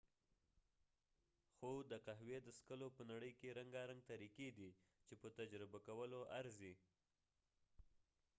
خو د قهوي د څکلو په نړۍ کې رنګارنګ طریقی دي چې په تجربه کولو ارزی